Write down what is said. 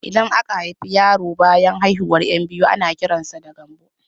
Idan aka haifi yaro banyan haihuwar 'yan biyu ana kiran sa da Gambo